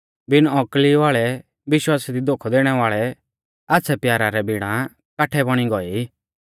बिण औकली वाल़ै विश्वासा दी धोखौ दैणै वाल़ै आच़्छ़ै प्यारा रै बिणा काठै बौणी गौऐ ई